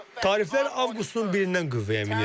Tariflər avqustun 1-dən qüvvəyə minir.